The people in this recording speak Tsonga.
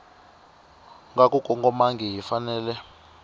nga ku kongomangihi yi fanele